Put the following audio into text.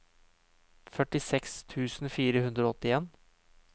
førtiseks tusen fire hundre og åttien